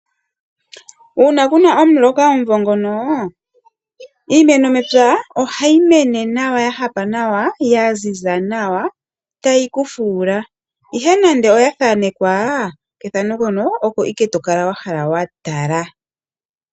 Uuna kuna omuloka omuvo ngono iimeno mepya ohayi mene nawa ya hapa nawa ya ziza nawa tayi ku fuula ihe nande oya thankewa pethano mpono opo ike tokala wahala wa tala.